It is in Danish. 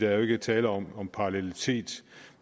er jo ikke tale om om parallelitet